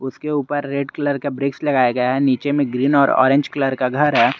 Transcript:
उसके ऊपर red colour का ब्रिक्स लगाया गया है नीचे में ग्रीन और ऑरेंज कलर का घर है।